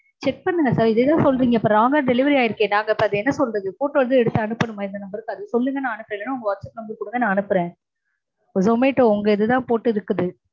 check பண்ணுங்க sir. இதேதா சொல்றீங்க. இப்போ wrong அ delivery ஆயிருக்கே. அத நாங்க அப்போ அத என்ன சொல்றது? photo எதும் எடுத்து அனுப்பனுமா இந்த number க்கு? அது சொல்லுங்க நா அனுப்பறேன். இல்லனா உங்க whatsapp number கொடுங்க நா அனுப்பறேன். zomato உங்க இதுதா போட்டு இருக்குது.